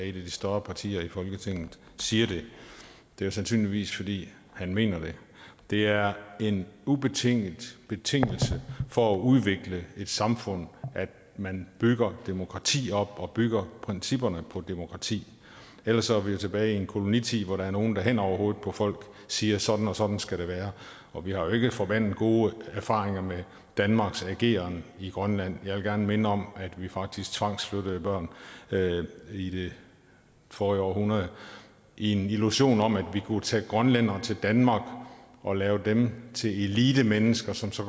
et af de større partier i folketinget siger det det er sandsynligvis fordi han mener det det er en betingelse betingelse for at udvikle et samfund at man bygger demokrati op og bygger principperne på et demokrati ellers er vi jo tilbage i en kolonitid hvor der er nogle der hen over hovedet på folk siger sådan og sådan skal det være og vi har jo ikke forbandet gode erfaringer med danmarks ageren i grønland jeg vil gerne minde om at vi faktisk tvangsflyttede børn i det forrige århundrede i en illusion om at vi kunne tage grønlændere til danmark og lave dem til elitemennesker som så